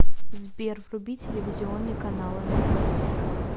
сбер вруби телевизионный канал нтв сериал